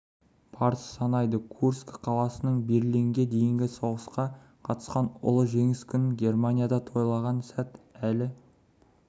парыз санайды курск қаласынан берлинге дейінгі соғысқа қатысқан ұлы жеңіс күнін германияда тойлаған сәт әлі